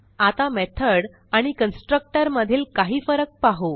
आता मेथॉड आणि कन्स्ट्रक्टर मधील काही फरक पाहू